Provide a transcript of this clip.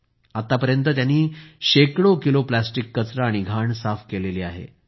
त्यांनी आतापर्यंत शेकडो किलो प्लास्टिक कचरा आणि घाण साफ केली आहे